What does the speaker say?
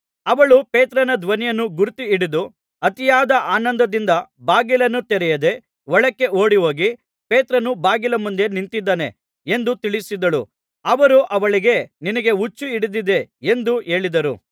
ಅವಳು ಪೇತ್ರನ ಧ್ವನಿಯನ್ನು ಗುರುತುಹಿಡಿದು ಅತಿಯಾದ ಆನಂದದಿಂದ ಬಾಗಿಲನ್ನು ತೆರೆಯದೆ ಒಳಕ್ಕೆ ಓಡಿಹೋಗಿ ಪೇತ್ರನು ಬಾಗಿಲ ಮುಂದೆ ನಿಂತಿದ್ದಾನೆ ಎಂದು ತಿಳಿಸಿದಳು ಅವರು ಅವಳಿಗೆ ನಿನಗೆ ಹುಚ್ಚು ಹಿಡಿದದೆ ಎಂದು ಹೇಳಿದರು